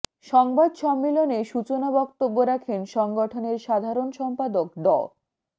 সংবাদ সম্মেলনে সূচনা বক্তব্য রাখেন সংগঠনের সাধারণ সম্পাদক ড